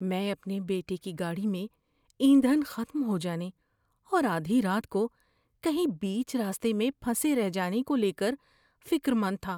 میں اپنے بیٹے کی گاڑی میں ایندھن ختم ہو جانے اور آدھی رات کو کہیں بیچ راستے میں پھنسے رہ جانے کو لے کر فکر مند تھا۔